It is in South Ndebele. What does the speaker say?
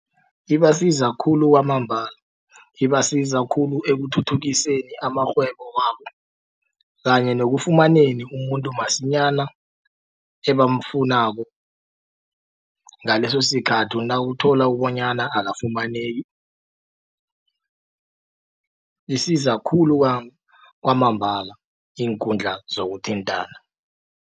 Ibasiza khulu kwamambala ibasiza khulu ekuthuthukiseni amarhwebo wabo kanye nekufumaneni umuntu masinyana ebamfunako ngaleso sikhathi nawuthola ukobanyana akafumaneki isiza khulu kwamambala iinkundla zokuthintana.